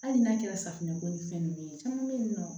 Hali n'a kɛra safunɛko ni fɛn nunnu ye caman be yen nɔ